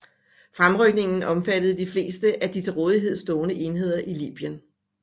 Fremrykningen omfattede de fleste af de til rådighed stående enheder i Libyen